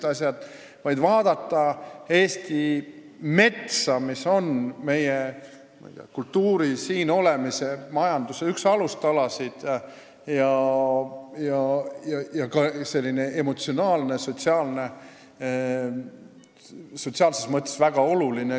Me tahame vaid vaadata Eesti metsa, mis on üks meie kultuuri, meie siin olemise, meie majanduse alustalasid ja meile ka emotsionaalses, sotsiaalses mõttes väga oluline.